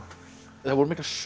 það voru miklar sögur